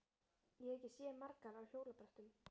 Ég hef ekki séð margar á hjólabrettum.